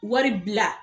Wari bila